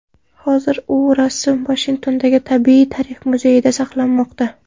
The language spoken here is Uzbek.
Hozir u rasm Vashingtondagi Tabiiy tarix muzeyida saqlanmoqda.